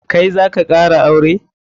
Kai zaka kara aure?